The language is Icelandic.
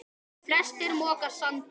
Flestir moka sandi.